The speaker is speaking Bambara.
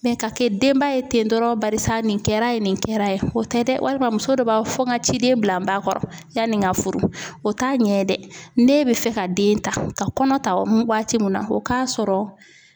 ka kɛ denba ye ten dɔrɔn barisa nin kɛra ye nin kɛra ye o tɛ dɛ walima muso dɔ b'a fɔ n ka ciden bila n ba kɔrɔ yanni n ka furu o t'a ɲɛ dɛ n'e bɛ fɛ ka den ta ka kɔnɔ ta waati min na o k'a sɔrɔ